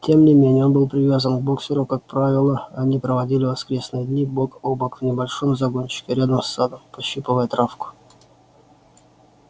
тем не менее он был привязан к боксёру как правило они проводили воскресные дни бок о бок в небольшом загончике рядом с садом пощипывая травку